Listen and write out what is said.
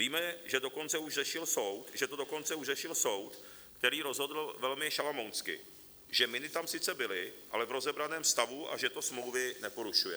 Víme, že to dokonce už řešil soud, který rozhodl velmi šalamounsky, že miny tam sice byly, ale v rozebraném stavu, a že to smlouvy neporušuje.